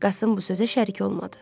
Qasım bu sözə şərik olmadı.